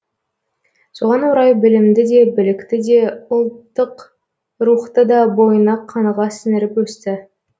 соған орай білімді де білікті де де ұлттық рухты да бойына қаныға сіңіріп өсті